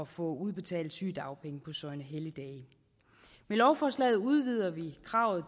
få udbetalt sygedagpenge på søgnehelligdage med lovforslaget udvider vi kravet